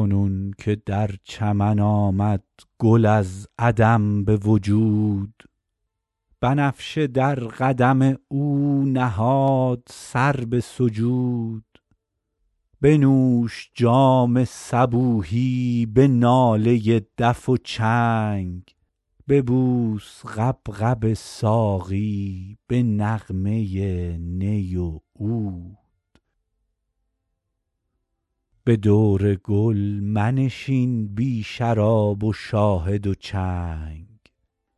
کنون که در چمن آمد گل از عدم به وجود بنفشه در قدم او نهاد سر به سجود بنوش جام صبوحی به ناله دف و چنگ ببوس غبغب ساقی به نغمه نی و عود به دور گل منشین بی شراب و شاهد و چنگ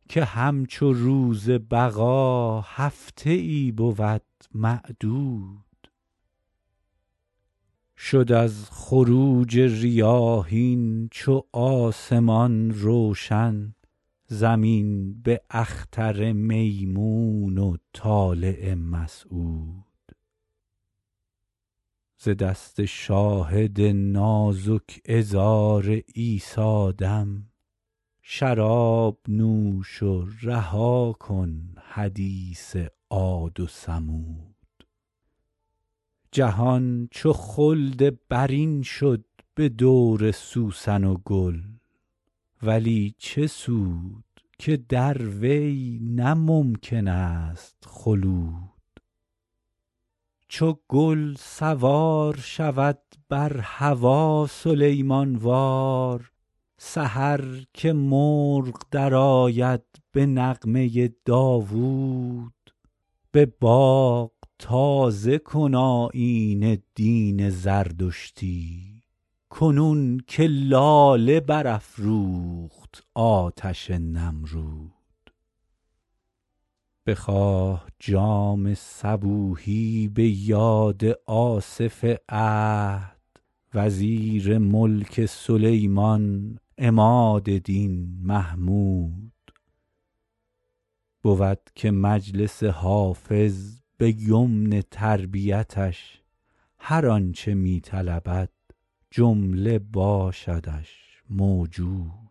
که همچو روز بقا هفته ای بود معدود شد از خروج ریاحین چو آسمان روشن زمین به اختر میمون و طالع مسعود ز دست شاهد نازک عذار عیسی دم شراب نوش و رها کن حدیث عاد و ثمود جهان چو خلد برین شد به دور سوسن و گل ولی چه سود که در وی نه ممکن است خلود چو گل سوار شود بر هوا سلیمان وار سحر که مرغ درآید به نغمه داوود به باغ تازه کن آیین دین زردشتی کنون که لاله برافروخت آتش نمرود بخواه جام صبوحی به یاد آصف عهد وزیر ملک سلیمان عماد دین محمود بود که مجلس حافظ به یمن تربیتش هر آن چه می طلبد جمله باشدش موجود